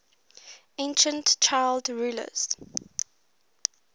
ancient child rulers